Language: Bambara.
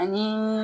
Ani